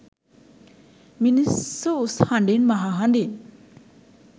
මිනිස්සු උස් හඬින් මහහඬින්